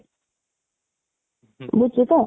ବୁଝୁଛୁ ତ?